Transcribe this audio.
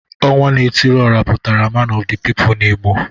Onwa na etiri ora putara man of the people in Igbo